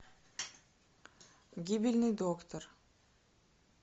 гибельный доктор